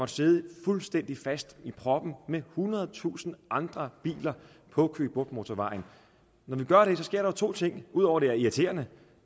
sad fuldstændig fast i en prop med ethundredetusind andre biler på køge bugt motorvejen når vi gør det sker der to ting ud over at det er irriterende